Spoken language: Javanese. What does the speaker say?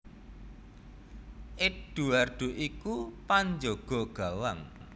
Eduardo iku panjaga gawang